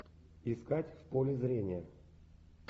искать в поле зрения